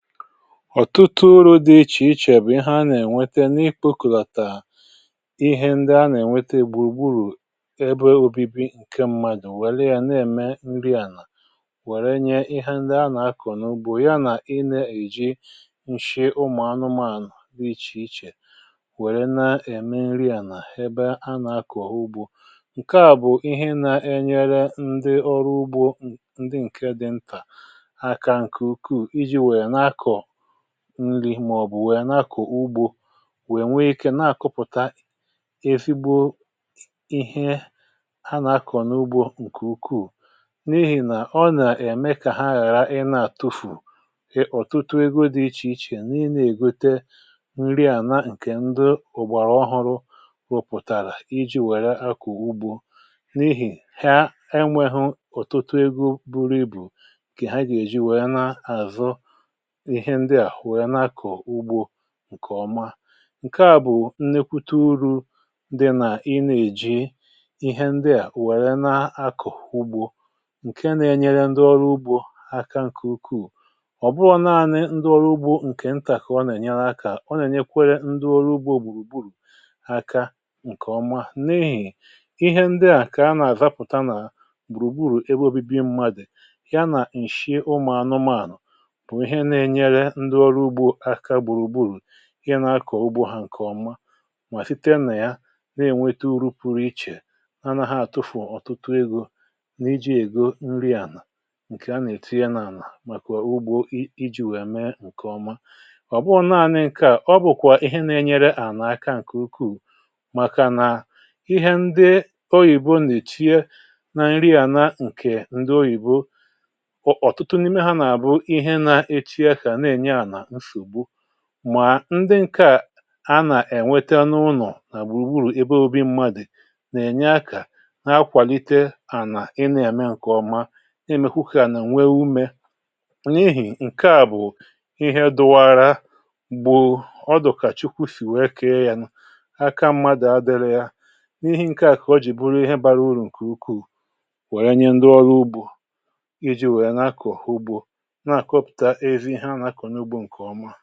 Ọtụtụ uru̇ dị iche iche bụ̀ ihe a nà-ènwete n’nikpo kùlàtàrà. Ihe ndị a nà-ènwete gbùgbùrù ebe obibi ǹke mmadụ̀ nwèlè, yà na-ème nri ànà wèrè nye ihe ndị a nà-akụ̀ n’ugbȯ, ya nà inė èji nshie ụmụ̀anụmaànụ̀ dị iche iche wèrè na-ème nri ànà ebe a nà-akụ̀ ọ̀hụ́ ugbȯ. um ǹkè à bụ̀ ihe na-enyere ndị ọrụ ugbȯ, ndị ǹkè dị mpà aka nà ǹkè ukwuù, nwèọ̀bụ̀ nwèọ̀, bụ̀ ndị nwèrè n’akọ̀ ugbȯ, nwèe nwe ikė nà-àkụpụ̀ta e fighi ihe a nà-akọ̀ n’ugbȯ ǹkè ukwuù, n’ihì nà ọ nà-ème kà ha ghàra ị nà-àtufù ọ̀tụtụ ego dị iche iche. Nii̇nė ègote nri ànà, ǹkè ndị ụ̀gbàrà ọhụrụ̇ rụpụ̀tàrà iji̇ wèrè akọ̀ ugbȯ, n’ihì ha enwėhu ọ̀tụtụ ego buru ibu kè ha gà-èji wèe na-àzọ ǹkè ọma. ǹkè à bụ̀ nlekwute uru, ndị nà-inà èji ihe ndị à wèrè na-akụ̀ ugbo ǹkè nà-ėnyere ndị ọrụ ugbȯ aka ǹkè ukwuù. um Ọ̀ bụrọ̇ nanị ndị ọrụ ugbȯ ǹkè ntàkọ̀ ọ nà-ènyere akà, ọ nà-ènyekwerekwa ndị ọrụ ugbȯ gbùrù gburù aka ǹkè ọma. N’ehì ihe ndị à, kà a nà-àzapụ̀ta nà gbùrùgburù ebe obibi mmadụ, ya nà-èshi ụmȧanụmaànụ̀, um ndị ọrụ ugbȯ aka gbùrù gburù, ihe nà-akọ̀ ugbȯ hȧ ǹkè ọma. Mà site nà ya, ha na-ènweta uru pụrụ iche, anaghị àtụfù ọ̀tụtụ egȯ n’iji ègo nri ànà, ǹkè a nà-ètuye nà-ànà màkà ugbȯ iji̇ wèe mee ǹkè ọma. Ọ̀ bụghọ̇ nanị nke à, ọ bụ̀kwà ihe na-enyere ànà aka ǹkè ukwuu, màkà nà ihe ndị oyìbo nà-èchie na nri ànà, ǹkè ndị oyìbo mà ndị ǹke à a nà-ènweta n’ụnọ̀ nà gbùrùgburù ebe ȯbi̇ mmadụ̀ nà-ènye akà n’akwàlite ànà ịna-ème ǹkèọma. Imekwụkwọ à nà nwe umē, n’ihì ǹkè à bụ̀ ihe dụwaara gbù ọdụ̀kà Chukwu sì wee kee ya n’aka mmadụ̀, adịrị ya n’ihe ǹkè à kà ọ jì bụrụ ihe bara urù ǹkè ukwuù, wèrè nye ndị ọrụ ugbò iji̇ wèe nà-akọ̀ ha ugbȯ ǹkè ọma.